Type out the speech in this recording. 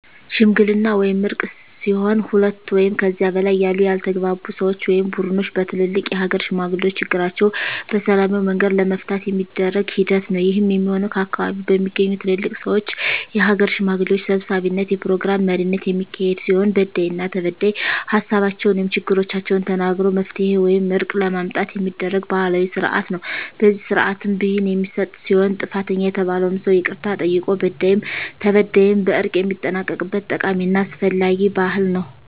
ሽምግልና ወይም እርቅ ሲሆን ሁለት ወይም ከዚያ በላይ ያሉ ያልተግባቡ ሰወች ወይም ቡድኖች በትልልቅ የሀገር ሽማግሌዎች ችግራቸዉን በሰላማዊ መንገድ ለመፍታት የሚደረግ ሂደት ነዉ። ይህም የሚሆን ከአካባቢዉ በሚገኙ ትልልቅ ሰወች(የሀገር ሽማግሌዎች) ሰብሳቢነት(የፕሮግራም መሪነት) የሚካሄድ ሲሆን በዳይና ተበዳይ ሀሳባቸዉን(ችግሮቻቸዉን) ተናግረዉ መፍትሄ ወይም እርቅ ለማምጣት የሚደረግ ባህላዊ ስርአት ነዉ። በዚህ ስርአትም ብይን የሚሰጥ ሲሆን ጥፋተኛ የተባለዉም ሰዉ ይቅርታ ጠይቆ በዳይም ተበዳይም በእርቅ የሚጠናቀቅበት ጠቃሚና አስፈላጊ ባህል ነዉ።